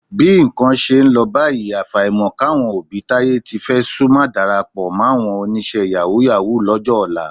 Bí nǹkan ṣe ń lọ báyìí, àfàìmọ̀ káwọn òbí táyé tí fẹ́ sú má darapọ̀ máwọn oníṣẹ́ yàwúù-yàwúù lọ́jọ́ ọ̀la